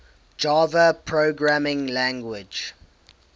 java programming language